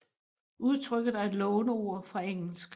Udtrykket er et låneord fra engelsk